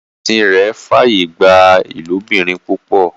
ẹsìn rẹ f'aye gbà ilobirin púpọ.